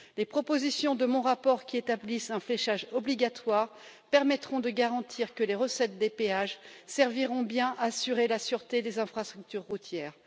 Les propositions de mon rapport qui établissent un fléchage obligatoire permettront de garantir que les recettes des péages serviront bien à assurer la sûreté des infrastructures routières.